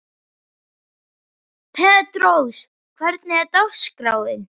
Petrós, hvernig er dagskráin?